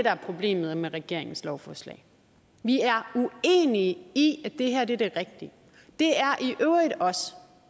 er problemet med regeringens lovforslag vi er uenige i at det her er det rigtige det er